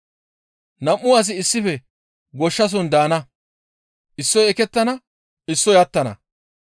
Nam7u asi issife goshshason daana; issoy ekettana; issoy attana.